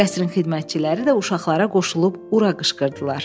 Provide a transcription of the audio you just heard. Qəsrin xidmətçiləri də uşaqlara qoşulub ura qışqırdılar.